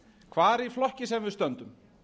hvar í flokki sem við stöndum